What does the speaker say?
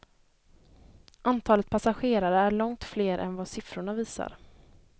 Antalet passagerare är långt fler än vad sifforna visar.